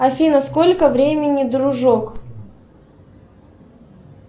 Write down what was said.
афина сколько времени дружок